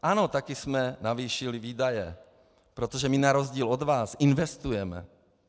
Ano, také jsme navýšili výdaje, protože my na rozdíl od vás investujeme.